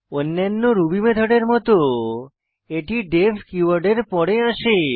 অন্যান্য রুবি মেথডের মত এটি ডিইএফ কীওয়ার্ড এর পর আসে